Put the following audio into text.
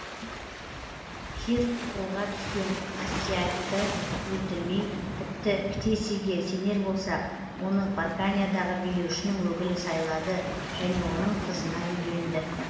кир қолға түскен астиагты өлтірмей тіпті ктесийге сенер болсақ оны парканиядағы билеушінің өкілі сайлады және оның қызына үйленді